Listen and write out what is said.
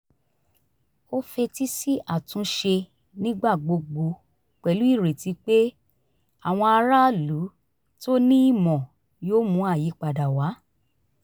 ó fetí sí àtúnṣe nígbà gbogbo pẹ̀lú ireti pé àwọn aráàlú to ní ìmọ̀ yóò mú àyípadà wá